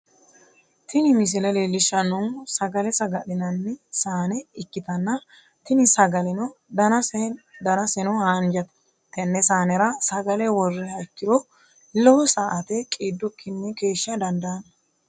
Tini misile leellishshannohu sagale saga'linanni saane ikkitanna, tini sagaleno danaseno haanjate, tenne saanera sagale worriha ikkiro lowo sa"ate qiidikkinni keeshsha dandaanno.